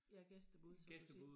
Ja gæstebud som du siger